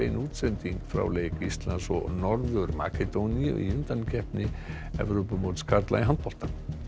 útsending frá leik Íslands og Norður Makedóníu í undankeppni karla í handbolta